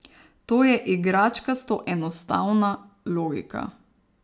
To je igračkasto enostavna logika.